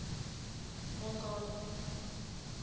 mongane